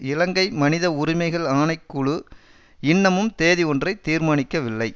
இலங்கை மனித உரிமைகள் ஆணை குழு இன்னமும் தேதி ஒன்றை தீர்மானிக்கவில்லை